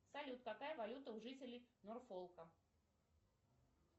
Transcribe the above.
салют какая валюта у жителей норфолка